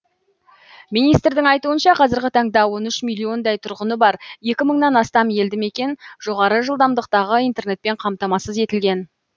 министрдің айтуынша қазіргі таңда он үш миллиондай тұрғыны бар екі мыңнан астам елді мекен жоғары жылдамдықтағы интернетпен қамтамасыз етілген